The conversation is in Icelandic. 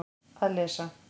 Að lesa